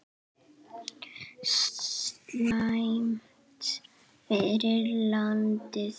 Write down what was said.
Slæmt fyrir landið!